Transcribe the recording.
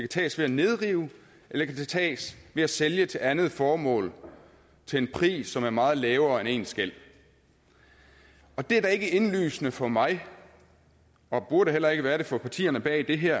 tages ved at nedrive eller det kan tages ved at sælge til andet formål til en pris som er meget lavere end ens gæld det er da ikke indlysende for mig og burde heller ikke være det for partierne bag det her